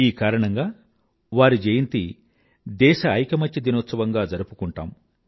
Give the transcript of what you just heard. ఈ కారణంగా వారి జయంతి దేశ ఐకమత్య దినోత్సవంగా జరుపుకుంటాము